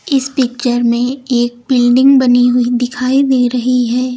इस पिक्चर में एक बिल्डिंग बनी हुई दिखाई दे रही है।